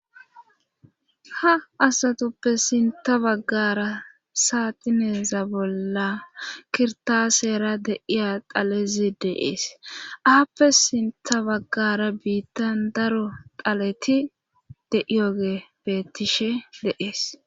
Ha asatuppe sinta baggara saatineeza bolla kirtaseera deiya dalezi deees aappe sinta baggara biittan daro daleti de7iyoge bettishe deees